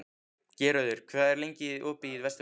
Geirröður, hvað er lengi opið í Vesturbæjarís?